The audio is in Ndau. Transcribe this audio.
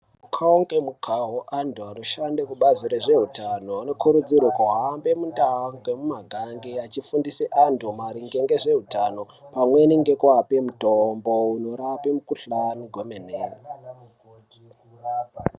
Mukuwo ngemukuwo Antu anoshande kubazi rezveutano anokurudzirwa kuhambe mundau nemumakanyi achifundise antu maringe ngezveutano pamweni ngekupe mitombo inorapa mikuhlani kwemene.